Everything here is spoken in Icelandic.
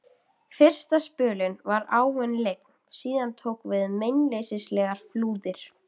Fyrsta spölinn var áin lygn, síðan tóku við meinleysislegar flúðir.